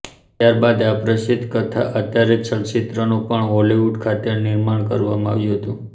ત્યારબાદ આ પ્રસિદ્ધ કથા આધારીત ચલચિત્રનું પણ હોલીવુડ ખાતે નિર્માણ કરવામાં આવ્યું હતું